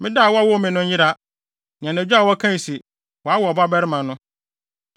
“Ma da a wɔwoo me no nyera, ne anadwo a wɔkae se, ‘Wɔawo ɔbabarima no!’